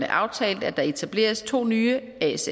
aftalt at der etableres to nye asf